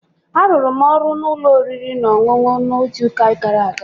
Arụrụ m ọrụ n'ụlọ oriri na ọṅụṅụ n'izuụka gara aga